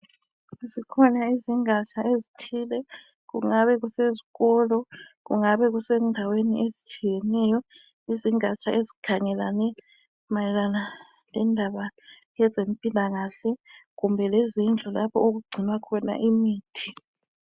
Zikhona izingatsha ezithile kungabe kusezikolo, kungabe kusendaweni ezitshiyeneyo, izingatsha ezikhangelane mayelana lendaba yezempilakahle kumbe lezindlu lapho okugcinwa khona imithi.